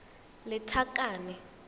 lethakane